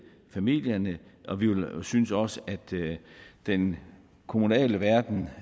familierne og vi synes også at den kommunale verden